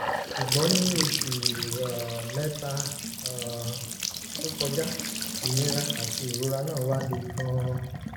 ṣùgbọ́n ní oṣù um mẹ́ta um tó kọjá ìnira àti ìrora náà wá le gan-an